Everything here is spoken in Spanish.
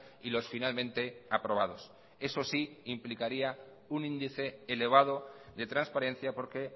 y los finalmente aprobados eso sí implicaría un índice elevado de transparencia porque